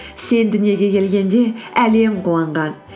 сен дүниеге келгенде әлем қуанған